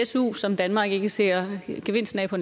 su som danmark ikke ser gevinsten af på